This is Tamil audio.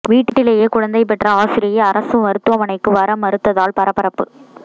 வீட்டிலேயே குழந்தை பெற்ற ஆசிரியை அரசு மருத்துவமனைக்கு வர மறுத்ததால் பரபரப்பு